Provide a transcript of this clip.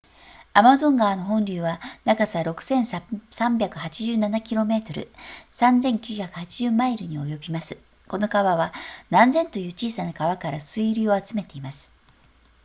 アマゾン川の本流は長さ 6,387 km3,980 マイルに及びますこの川は何千という小さな川から水流を集めています